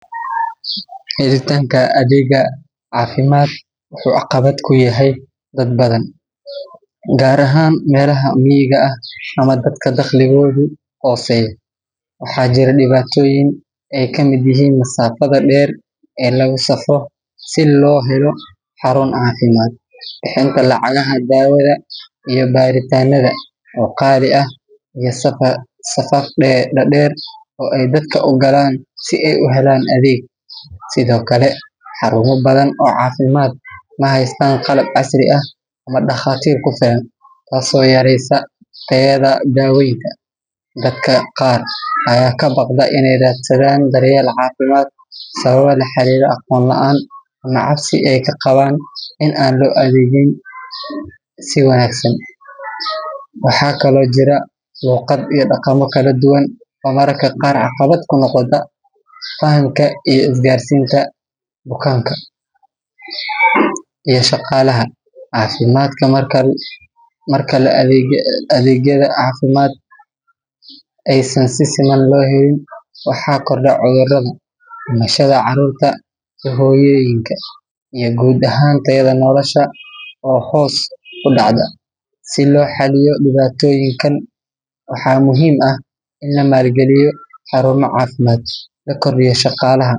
Helitanka adega cafimadka wuxu caqabad kuyahay dad badan. Gar ahan melaha miiga aah ama dadka dakhligodu hoseyo waxajira dibatoyin ey kamid yahin masaafada dher e lagu safro si lohelo xarun cafimad xelka lacagaha dawada iyo baritanada o qali aah iyo safar dadeer ay dadka ugalan si ayuhelan adeg sido kale xaruma badan o cafimad mahystan qalab casri aah ama dakhatir kufilan. taso o yareysa tayada dawoyinka dadka qar aya kabaqda inay radsadan daryeel cafimad sababa laxarira aqon laan ama cabsi ay kaqaban in anloadegin si wanagsan. waxa kala o jira Luqad iyo daqama kaladuwan o mararka qar caqabad kunoqda fahannka iyo isgarsinta bukanka I shaqalaha cafimadka markale adegyada cafimad aysan sisiman lohelin ama waxa Korda cudarada, dimishada carurta I hoyoyinka I gud ahaan tayada nolasha o hos u dacda si loxaliyo dibatoyinkan waxa muhim aah in lamalgaliyo xaruma cafimad lakordiyo shaqalaha